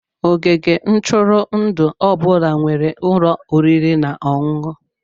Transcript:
Ogige ntụrụndụ ọ bụla nwere ụlọ oriri na ọṅụṅụ.